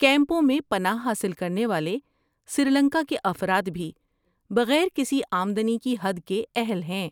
کیمپوں میں پناہ حاصل کرنے والے سری لنکا کے افراد بھی بغیر کسی آمدنی کی حد کے اہل ہیں۔